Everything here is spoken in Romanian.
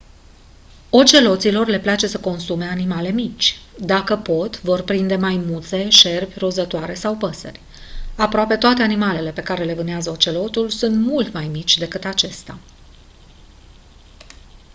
oceloților le place să consume animale mici dacă pot vor prinde maimuțe șerpi rozătoare sau păsări aproape toate animalele pe care le vânează ocelotul sunt mult mai mici decât acesta